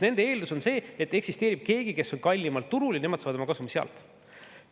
Nende eeldus on see, et eksisteerib keegi, kes on kallimalt turul, ja nemad saavad oma kasumi sealt.